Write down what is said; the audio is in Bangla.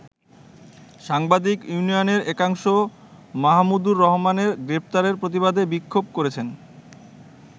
সাংবাদিক ইউনিয়নের একাংশ মাহমুদুর রহমানের গ্রেপ্তারের প্রতিবাদে বিক্ষোভ করেছে।